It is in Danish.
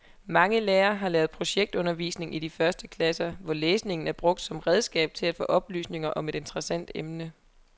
Mange lærere har lavet projektundervisning i de første klasser, hvor læsning er brugt som redskab til at få oplysninger om et interessant emne.